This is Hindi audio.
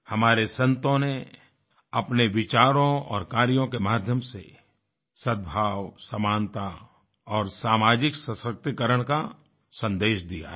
हमारे संतों ने अपने विचारों और कार्यों के माध्यम से सद्भाव समानता और सामाजिक सशक्तिकरण का सन्देश दिया है